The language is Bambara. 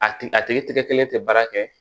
A tigi a tigi tigɛ kelen tɛ baara kɛ